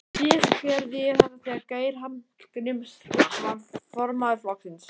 Síðast gerði ég þetta þegar Geir Hallgrímsson var formaður flokksins.